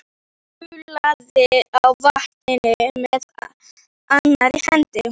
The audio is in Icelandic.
Sullaði í vatninu með annarri hendi.